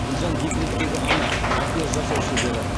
гүлжан декреттегі ана макияж жасау шебері